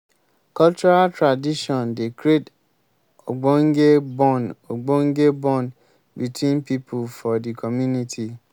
cultural tradition dey create ogbonge bond ogbonge bond between pipo for di community.